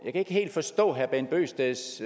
ikke helt forstå herre bent bøgsteds